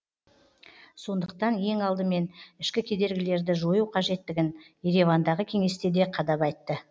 сондықтан ең алдымен ішкі кедергілерді жою қажеттігін еревандағы кеңесте де қадап айтты